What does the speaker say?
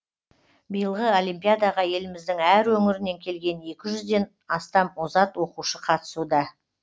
биылғы олимпиадаға еліміздің әр өңірінен келген екі жүзден астам озат оқушы қатысуда